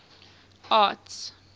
arts